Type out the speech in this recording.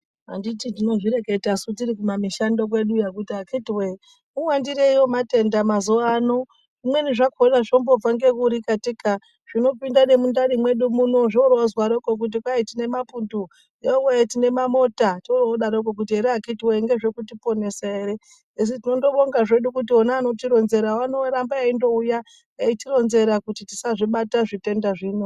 Anditi tinozvireketa tiri ku mishando kwedu yo kuti akhithi woyeee muwandirei wematenda mazuwa ano. Zvimweni zvakhona zvombobva ngekuri katika. Denda remundani mwedu muno zvorozarokwo kuti kwai tine mapundu. Yowee tine mamota torodarokwo here akhithi woyee ngezvekutiponesa ere? Asi tinondobonga zvedu kuti vona vanotironzerawo vanondoramba veindouya veitironzera kuti tisazvibata zvitenda zvino.